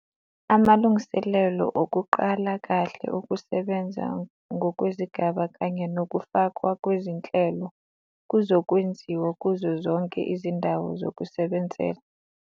Amalungiselelo okuqala kahle ukusebenza ngokwezigaba kanye nokufakwa kwezinhlelo kuzokwenziwa kuzo zonke izindawo zokusebenzela.